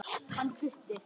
Hann Gutti?